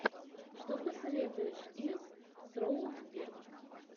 что посоветуешь из с роуз бирн